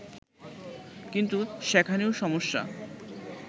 কিন্তু সেখানেও সমস্যা